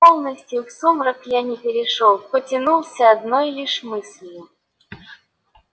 полностью в сумрак я не перешёл потянулся одной лишь мыслью